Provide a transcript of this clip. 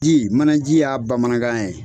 Ji manaji ye bamanankan ye.